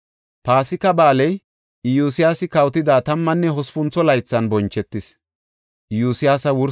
Paasika Ba7aaley Iyosyaasi kawotida tammanne hospuntho laythan bonchetis.